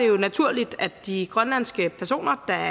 jo naturligt at de grønlandske personer der